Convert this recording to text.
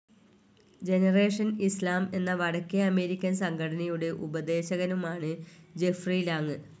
Generation Islam എന്ന വടക്കേ American സംഘടനയുടെ ഉപദേശകനുമാണ് ജഫ്രി ലാങ്.